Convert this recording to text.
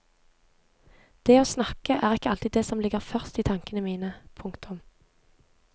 Det å snakke er ikke alltid det som ligger først i tankene mine. punktum